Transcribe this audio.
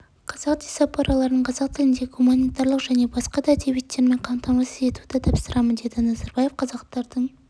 қазақ дисапораларын қазақ тіліндегі гуманитарлық және басқа да әдебиеттермен қамтамасыз етуді тапсырамын деді назарбаев қазақтардың